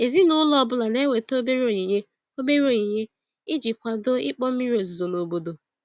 Ezinụlọ ọ bụla na-eweta obere onyinye obere onyinye iji kwado ịkpọ mmiri ozuzo n'obodo.